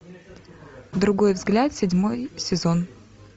другой взгляд седьмой сезон